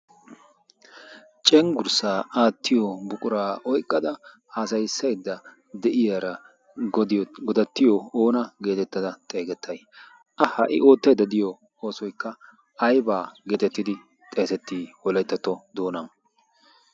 cenggurssaa aattiyo buquraa oiqqada haasayissaidda de7iyaara godattiyo oona geetettada xeegettai? a ha77i ootteedda diyo oosoikka aibaa geetettidi xeesettii holeettatto doona?